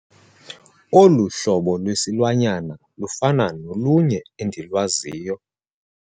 Olu hlobo lwesilwanyana lufana nolunye endilwaziyo.